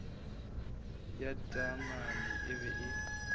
ya taamane e be e